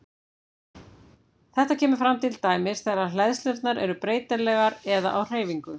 Þetta kemur fram til dæmis þegar hleðslurnar eru breytilegar eða á hreyfingu.